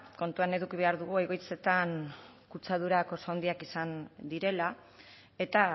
kontuan eduki behar dugu egoitzetan kutsadurak oso handiak izan direla eta